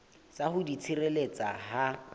sa ho di tshireletsa ha